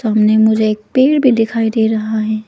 सामने मुझे एक पेड़ भी दिखाई दे रहा है।